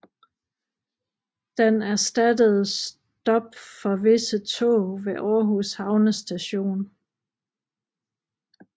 Den erstattede stop for visse tog ved Århus Havnestation